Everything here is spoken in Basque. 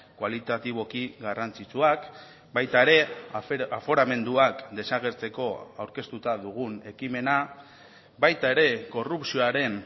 kualitatiboki garrantzitsuak baita ere aforamenduak desagertzeko aurkeztuta dugun ekimena baita ere korrupzioaren